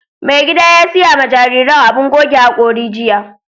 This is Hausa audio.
Mai gida ya siya ma jarirain abun goge haƙori jiya.